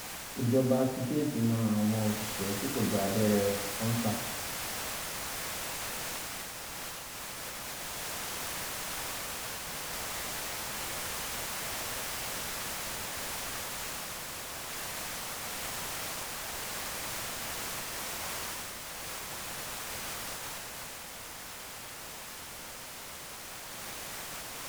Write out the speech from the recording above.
ìjọba ti géètì mọ àwọn òṣìṣẹ tí kò gba abẹrẹ kọńtà